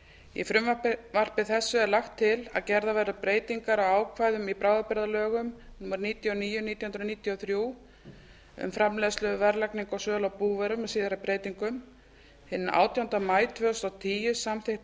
í frumvarpi þessu er lagt til að gerðar verði breytingar á ákvæðum til bráðabirgða í lögum númer níutíu og níu nítján hundruð níutíu og þrjú um framleiðslu verðlagningu og sölu á búvörum með síðari breytingum hinn átjánda maí tvö þúsund og tíu samþykkti